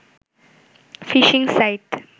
fishing site